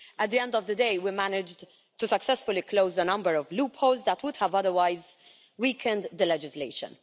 At the end of the day we managed to successfully close a number of loopholes that would otherwise have weakened the legislation.